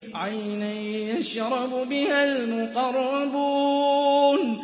عَيْنًا يَشْرَبُ بِهَا الْمُقَرَّبُونَ